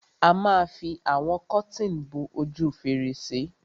A ma fi àwọn kọ́tìn bo ojú fèrèsé.